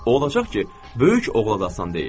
Olacaq ki, böyük oğla da asan deyil.